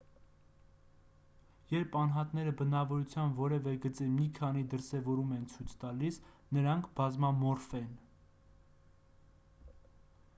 երբ անհատները բնավորության որևէ գծի մի քանի դրսևորում են ցույց տալիս նրանք բազմամորֆ են